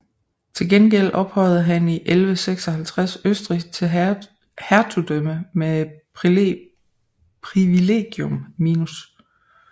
Til gengæld ophøjede han i 1156 Østrig til hertugdømme med Privilegium minus